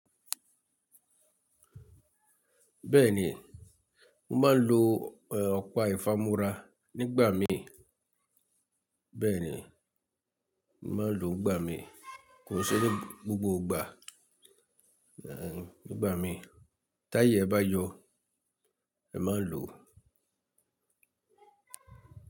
Bẹ́ẹ̀ni, mo máa ń lo ọ̀pá ìfámúrá nígbà mí. Bẹ́ẹ̀ni, mo máa ń lò ó nígbà mí, kò n se ní gbogbo ìgbà. Nígbà mí, táyé bá yọ ẹ máa ń lò ó.